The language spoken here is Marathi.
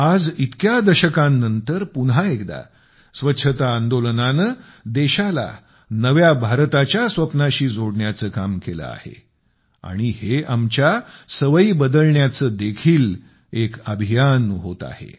आज इतक्या दशकानंतर पुन्हा एकदा स्वच्छता आंदोलनाने देशाला नव्या भारताच्या स्वप्नाशी जोडण्याचे काम केले आहे आणि हे आमच्या सवयी बदलण्याचे देखील एक अभियान बनते आहे